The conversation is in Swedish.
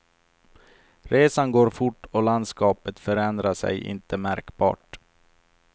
Resan går fort och landskapet förändrar sig inte märkbart.